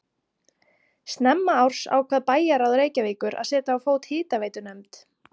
Snemma árs ákvað bæjarráð Reykjavíkur að setja á fót hitaveitunefnd.